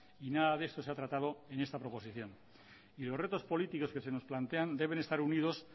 y nada de esto se ha tratado en esta proposición ni los retos políticos que se nos plantean deben estar unidos